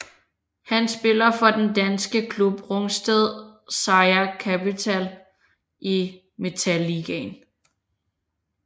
Han spiller for den danske klub Rungsted Seier Capital i Metalligaen